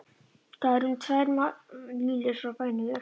Það er um tvær mílur frá bænum í austurátt.